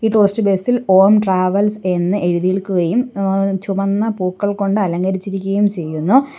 ഈ tourist bus ഇൽ Om travels എന്ന് എഴുതിയിൽക്കുകയും ഏഹ് ചുവന്ന പൂക്കൾ കൊണ്ട് അലങ്കരിച്ചിരിക്കുകയും ചെയ്യുന്നു.